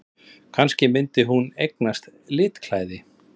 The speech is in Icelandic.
Kannski myndi hún eignast litklæði!